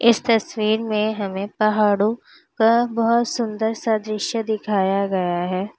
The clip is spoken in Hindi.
इस तस्वीर में हमें पहाड़ो का बहोत सुंदर सा दृश्य दिखाया गया है।